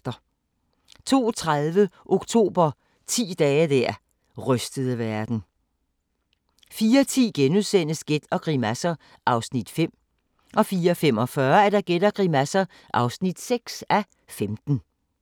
02:30: Oktober – ti dage der rystede verden 04:10: Gæt og grimasser (5:15)* 04:45: Gæt og grimasser (6:15)